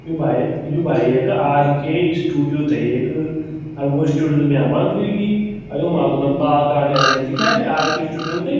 यु भाईया यु भाई येका आर.के स्टूडियो थे येक अर वो स्टूडियो त म्यार बंद ह्वेगी अ युमा बुना बाल काटयाली दिख्याली आर.के. स्टूडियों ते।